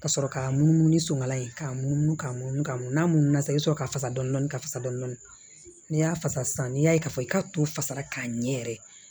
Ka sɔrɔ k'a munumunu ni suman ye k'a munumunu k'a munumunu ka munumunu sa i bi sɔrɔ ka fasa dɔni ka fasa dɔni n'i y'a fasa sisan n'i y'a ye k'a fɔ i ka to fasara k'a ɲɛ yɛrɛ